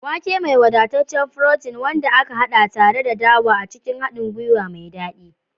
Wake, mai wadataccen furotin, wanda aka haɗa tare da dawa a cikin haɗin gwiwa mai daɗi.